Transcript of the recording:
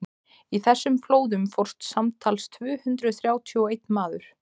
í þessum flóðum fórst samtals tvö hundruð þrjátíu og einn maður